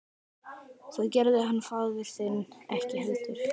Það gerði hann faðir þinn ekki heldur.